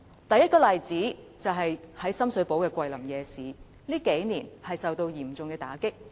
第一個例子，是深水埗的"桂林夜市"近年受到嚴重打擊。